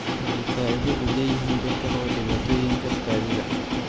Waxay faa'iido u leeyihiin dadka qaba dhibaatooyinka kaadida.